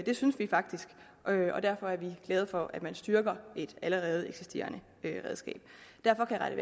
det synes vi faktisk og derfor er vi glade for at man styrker et allerede eksisterende redskab derfor